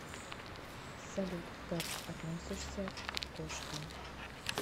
салют как относишься к кошкам